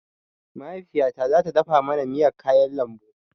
Mahaifiyata zata dafa mana miyar kayan lambu